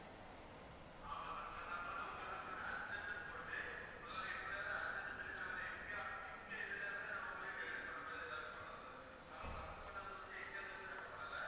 ஆமா sir sir நாங்க வந்து உங்களுக்கு urgent னு போட்டு மொதல்ல எப்படியாவது urgent னு சொல்லி நாங்க வந்து எங்க எங்க இதுல இருந்து நாங்க உங்களுக்கு delivery பண்ற மாதிரி ஏதாவுது பண்றோம் sir நாங்க first பண்ணது வந்து எங்கதுல இருந்து பண்ணல